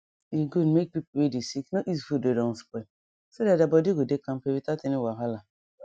e good make people wey dey sick no eat food wey don spoil so that their body go dey kampe without any wahala